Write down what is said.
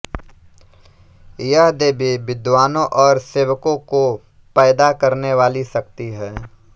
यह देवी विद्वानों और सेवकों को पैदा करने वाली शक्ति है